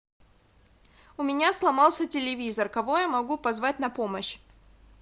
у меня сломался телевизор кого я могу позвать на помощь